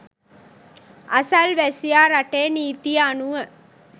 අසල්වැසියා රටේ නීතිය අනුව